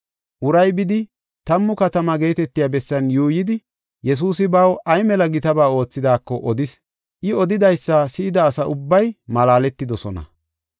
Uray bidi Tammu Katamaa geetetiya bessan yuuyidi, Yesuusi baw ay mela gitaba oothidaako odis. I odidaysa si7ida asa ubbay malaaletidosona.